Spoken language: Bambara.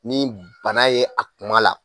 Ni bana ye a kuma la.